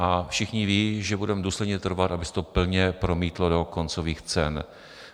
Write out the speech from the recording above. A všichni ví, že budeme důsledně trvat, aby se to plně promítlo do koncových cen.